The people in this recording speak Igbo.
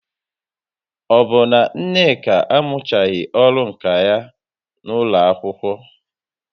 Ọ bụ na Nneka amụchaghị ọrụ nka ya n'ụlọ akwụkwọ?